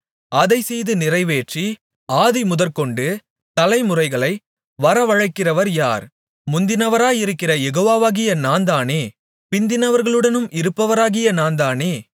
அதைச்செய்து நிறைவேற்றி ஆதிமுதற்கொண்டு தலைமுறைகளை வரவழைக்கிறவர் யார் முந்தினவராயிருக்கிற யெகோவாவாகிய நான்தானே பிந்தினவர்களுடனும் இருப்பவராகிய நான்தானே